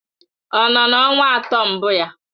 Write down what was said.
Ọ nọ na ọnwa atọ mbụ ya?